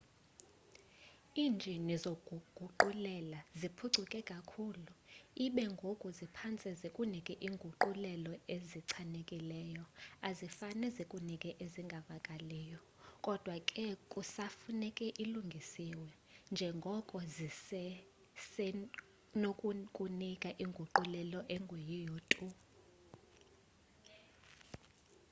iinjini zokuguqulela ziphucuke kakhulu ibe ngoku ziphantse zikunike iinguqulelo ezichanileyo azifane zikunike ezingavakaliyo kodwa ke kusafuneka ilungiswe njengoko zizesenokukunika inguqulelo engeyiyo tu